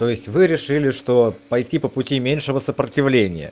то есть вы решили что пойти по пути меньшего сопротивления